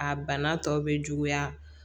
A bana tɔw bɛ juguya